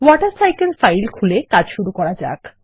water cycle file খুলে কাজ শুরু করা যাক